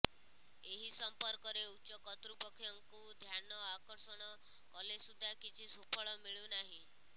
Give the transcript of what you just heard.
ଏହି ସମ୍ପର୍କରେ ଉଚ୍ଚକତ୍ତୃପକ୍ଷଙ୍କୁ ଧ୍ୟାନ ଆକର୍ଷଣ କଲେସୁଧା କିଛି ସୁଫଳ ମିଳୁନାହିଁ